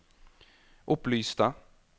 opplyste